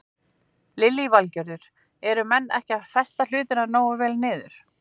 Lillý Valgerður: Eru menn ekki að festa hlutina nógu vel niður?